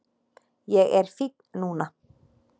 Ég er fínn núna